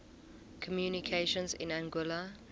communications in anguilla